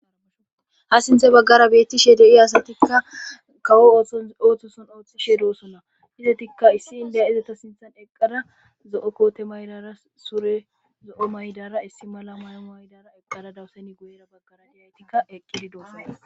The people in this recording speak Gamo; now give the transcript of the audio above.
ha sinthe baggara betti sheede i asatikka kawo ooththon ooththoson ooththishee doosonna hizetikka issi indeya izata sinthan eqqada zo7o koote maydara sure zo7o maydara issi mala may7o maydara eqqada dawuseni guyera baggara diyaytikka eqqidi doosona